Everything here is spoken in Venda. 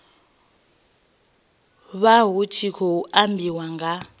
vha hu khou ambiwa nga